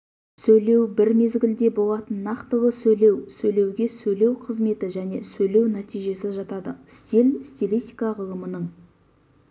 сөйлеу бір мезгілде болатын нақтылы сөйлеу сөйлеуге сөйлеу қызметі және сөйлеу нәтижесі жатады стиль стилистика ғылымының